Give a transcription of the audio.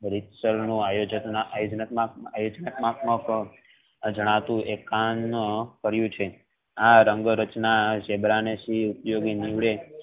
આયોજન માં જણાતું રેખા કરિયું છે આ અંગ રચના ઝીબ્રા ને છે એ ઉપયોગી નીવડે